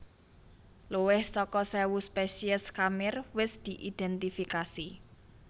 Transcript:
Luwih saka séwu spesies khamir wis diidhèntifikasi